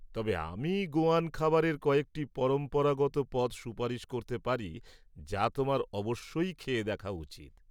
তবে আমি গোয়ান খাবারের কয়েকটি পরম্পরাগত পদ সুপারিশ করতে পারি যা তোমার অবশ্যই খেয়ে দেখা উচিত।